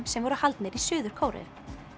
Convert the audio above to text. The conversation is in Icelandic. sem voru haldnir í Suður Kóreu